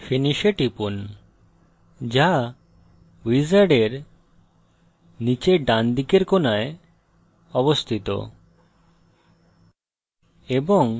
finish এ টিপুন যা wizard নীচের ডানদিকের কোণায় অবস্থিত